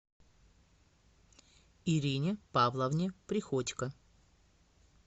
ирине павловне приходько